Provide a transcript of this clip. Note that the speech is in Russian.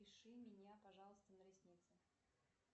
запиши меня пожалуйста на ресницы